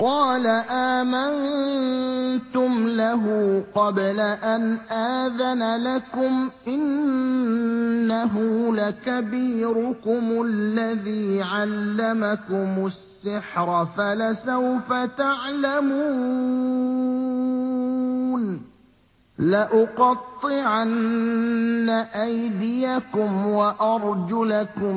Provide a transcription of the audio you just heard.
قَالَ آمَنتُمْ لَهُ قَبْلَ أَنْ آذَنَ لَكُمْ ۖ إِنَّهُ لَكَبِيرُكُمُ الَّذِي عَلَّمَكُمُ السِّحْرَ فَلَسَوْفَ تَعْلَمُونَ ۚ لَأُقَطِّعَنَّ أَيْدِيَكُمْ وَأَرْجُلَكُم